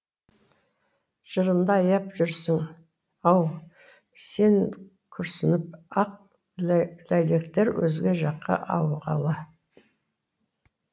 жырымды аяп жүрсің ау сен күрсініп ақ ләйлектер өзге жаққа ауғалы